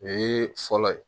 O ye fɔlɔ ye